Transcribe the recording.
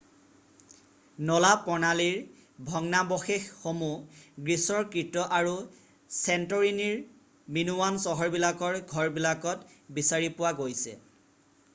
নলা প্ৰণালীৰ ভগ্নাৱশেষশসমূহ গ্ৰীছৰ কৃত আৰু চেণ্টৰীনিৰ মিনোৱান চহৰবিলাকৰ ঘৰবিলাকত বিচাৰি পোৱা গৈছে